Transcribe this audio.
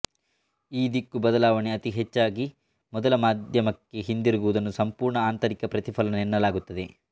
ಈ ದಿಕ್ಕು ಬದಲಾವಣೆ ಅತೀ ಹೆಚ್ಚಾಗಿ ಮೊದಲ ಮಾಧ್ಯಮಕ್ಕೇ ಹಿಂದಿರುಗುವುದನ್ನು ಸಂಪೂರ್ಣ ಆಂತರಿಕ ಪ್ರತಿಫಲನ ಎನ್ನಲಾಗುತ್ತದೆ